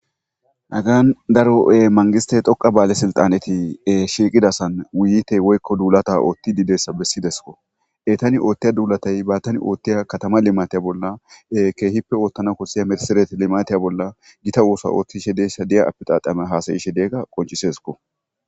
Hagyan daro'e-mangiste xhoqa baale silxaneti shiiqidasan wuyite woykko duulata oothti didessa bessidesko etani oothtiya duulatay baattani oothtiya katama limatiya bolla keehippe oottana kossiya mirsiret limatiya bolla gita oosa oothtishe deesha diya apixaqame haasayishe deegga qoncisesko